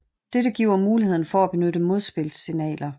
Dette giver muligheden for at benytte modspilssignaler